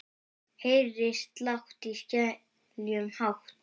Heyri slátt í seglum hátt.